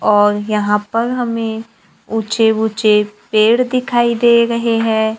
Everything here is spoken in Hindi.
और यहां पर हमें ऊंचे ऊंचे पेड़ दिखाई दे रहे हैं।